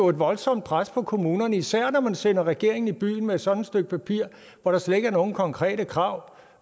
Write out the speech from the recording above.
et voldsomt pres på kommunerne især når man sender regeringen i byen med sådan et stykke papir hvor der slet ikke er nogen konkrete krav